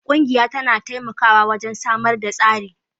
Ƙungiya tana taimakawa wajen samar da tsari